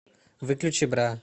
выключи бра